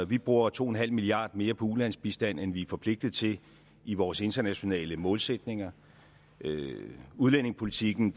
vi bruger to en halv milliard kroner mere på ulandsbistand end vi er forpligtet til i vores internationale målsætninger udlændingepolitikken